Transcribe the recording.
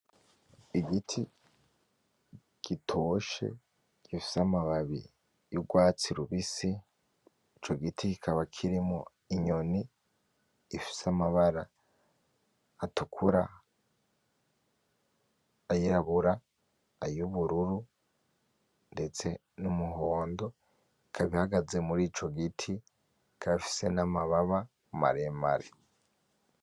Igiti gitoshe gifise amababi y'urwatsi ribisi ico giti kikaba kirimwo inyoni ifise amabara atukura ay'irabura ay'ubururu ndetse n'umuhondo ikaba ihagaze muri ico giti ikaba ifise n'amababa maremare .